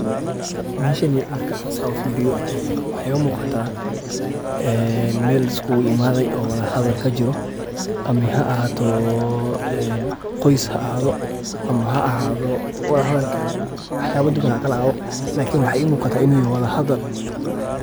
Meshani marka aa saa u feeriyoh waxa u muqatah meel liskugu imathay oo walahadal kajiroh amah ha ahaato oo qoy ha ahaatho amah walahadal Kali ha ahaatho likni waxa I muqatah ini yahay walahadal.